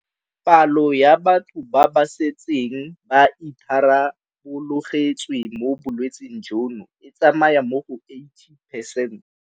Palo ya batho ba ba setseng ba itharabologetswe mo bolwetseng jono e tsamaya mo go 80 percent.